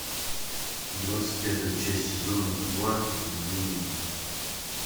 двадцать пятая часть сезона два обмани меня